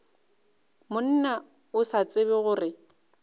monna o sa tsebe gore